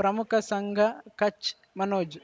ಪ್ರಮುಖ ಸಂಘ ಕಚ್ ಮನೋಜ್